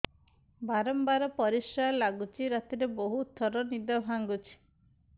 ବାରମ୍ବାର ପରିଶ୍ରା ଲାଗୁଚି ରାତିରେ ବହୁତ ଥର ନିଦ ଭାଙ୍ଗୁଛି